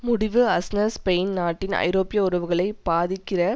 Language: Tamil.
முடிவு அஸ்னர் ஸ்பெயின் நாட்டின் ஐரோப்பிய உறவுகளை பாதிக்கிற